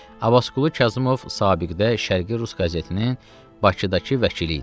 Abbasqulu Kazımov sabiqdə Şərqi Rus qəzetinin Bakıdakı vəkili idi.